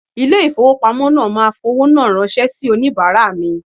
Ilé ìfowópamọ́ náà máa fowó náà ránṣẹ́ sì onìbàárà mi.